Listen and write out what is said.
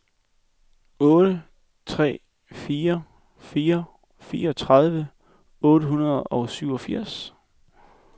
otte tre fire fire fireogtredive otte hundrede og syvogfirs